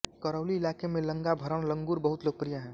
करौली इलाके में लंगा भरण लंगुर बहुत लोकप्रिय है